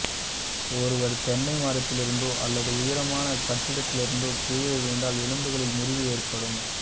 ஒருவர் தென்னை மரத்திலிருந்தோ அல்லது உயரமான கட்டிடத்திலிருந்தோ கீழே விழுந்தால் எலும்புகளில் முறிவு ஏற்படும்